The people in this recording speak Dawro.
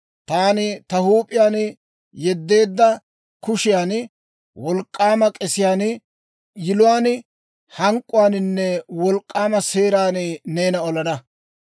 Taani ta huup'iyaan yeddeedda kushiyan, wolk'k'aama k'esiyaan, yiluwaan, hank'k'uwaaninne wolk'k'aama seeran neena olana.